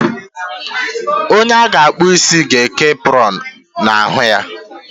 Onye a ga akpu ịsị ga eke apronu na ahụ ya